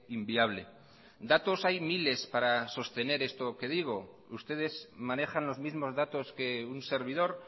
inviable datos hay miles para sostener esto que digo ustedes manejan los mismos datos que un servidor